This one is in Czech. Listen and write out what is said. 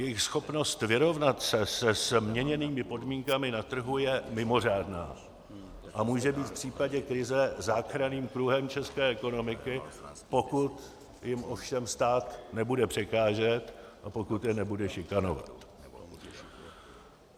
Jejich schopnost vyrovnat se se změněnými podmínkami na trhu je mimořádná a může být v případě krize záchranným kruhem české ekonomiky, pokud jim ovšem stát nebude překážet a pokud je nebude šikanovat.